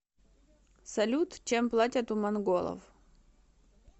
салют чем платят у монголов